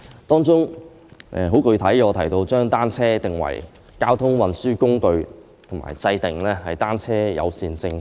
當中，我提出很具體的建議，就是將單車定為交通運輸工具及制訂單車友善政策。